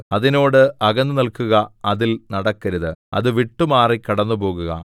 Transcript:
അതിനോട് അകന്നുനില്ക്കുക അതിൽ നടക്കരുത് അത് വിട്ടുമാറി കടന്നുപോകുക